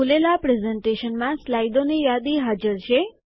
આ ખુલેલા પ્રસ્તુતિકરણમાં સ્લાઇડોની યાદી હાજર છે